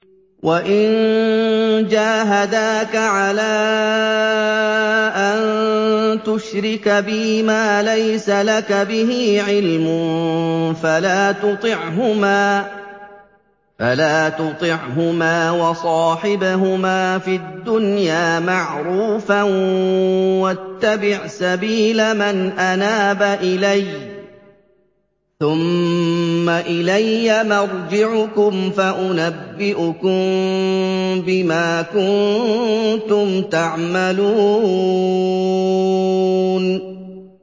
وَإِن جَاهَدَاكَ عَلَىٰ أَن تُشْرِكَ بِي مَا لَيْسَ لَكَ بِهِ عِلْمٌ فَلَا تُطِعْهُمَا ۖ وَصَاحِبْهُمَا فِي الدُّنْيَا مَعْرُوفًا ۖ وَاتَّبِعْ سَبِيلَ مَنْ أَنَابَ إِلَيَّ ۚ ثُمَّ إِلَيَّ مَرْجِعُكُمْ فَأُنَبِّئُكُم بِمَا كُنتُمْ تَعْمَلُونَ